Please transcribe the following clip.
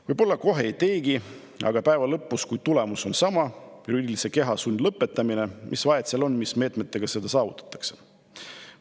Võib-olla kohe ei teegi, aga päeva lõpuks, kui tulemus on sama ehk juriidilise keha sundlõpetamine, siis mis vahet seal on, mis meetmega seda saavutatakse?